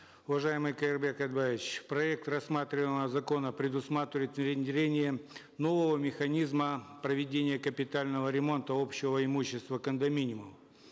уважаемый каирбек айтбаевич проект рассматриваемого закона предусматривает внедрение нового механизма проведения капитального ремонта общего имущества кондоминиума